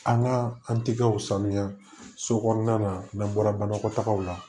An ka an tɛgɛw sanuya so kɔnɔna na n'an bɔra banakɔtagaw la